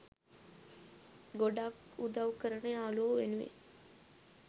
ගොඩක් උදවු කරන යාළුවො වෙනුවෙන්